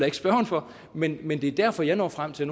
ikke spørgeren for men men det er derfor jeg når frem til